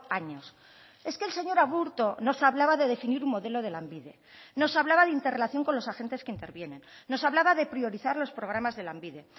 años es que el señor aburto nos hablaba de definir un modelo de lanbide nos hablaba de interrelación con los agentes que intervienen nos hablaba de priorizar los programas de lanbide